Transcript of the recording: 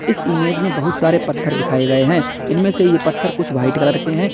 इस इमेज में बहुत सारे पत्थर दिखाए गए हैं इनमें से ये पत्थर कुछ व्हाइट कलर के हैं।